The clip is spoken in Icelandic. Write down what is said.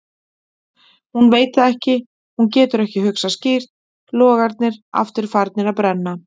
Hún veit það ekki, hún getur ekki hugsað skýrt, logarnir aftur farnir að brenna.